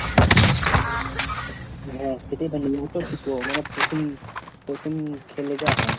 হ্যাঁ খেতেই পারিনি মনে এতো তিতো মানে প্রথম প্রথম খেলে যা হয়।